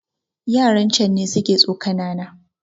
Yaran can ne suka tsokana na